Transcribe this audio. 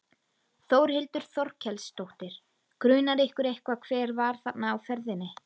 Þórhildur Þorkelsdóttir: Grunar ykkur eitthvað hver var þarna á ferðinni?